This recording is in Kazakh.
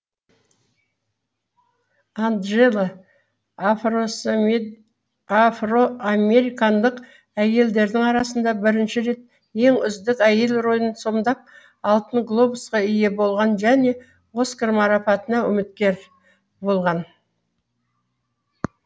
анджела афроамерикандық әйелдердің арасында бірінші рет ең үздік әйел рөлін сомдап алтын глобусқа ие болған және оскар марапатына үміткер болған